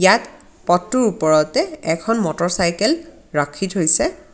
ইয়াত পথটোৰ ওপৰতে এখন মটৰচাইকেল ৰাখি থৈছে।